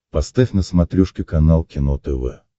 поставь на смотрешке канал кино тв